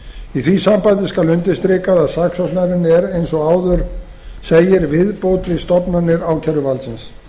í því sambandi skal undirstrikað að saksóknarinn er eins og áður segir viðbót við stofnanir ákæruvaldsins